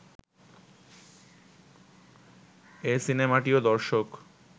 এ সিনেমাটিও দর্শক